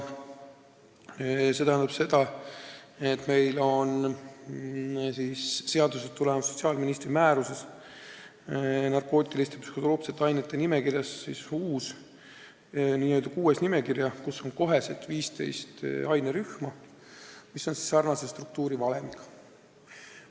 See tähendab seda, et seadusest tulenevalt on sotsiaalministri määruses kirjas narkootiliste ja psühhotroopsete ainete nimekirjad, kus on nüüd uus, VI nimekiri ja seal on 15 ainerühma, mis on sarnase struktuurivalemiga.